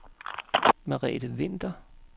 Merete Winther